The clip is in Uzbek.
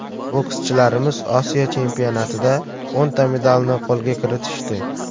Bokschilarimiz Osiyo chempionatida o‘nta medalni qo‘lga kiritishdi.